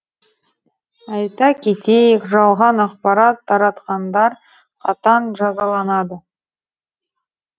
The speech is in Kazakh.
айта кетейік жалған ақпарат таратқандар қатаң жазаланады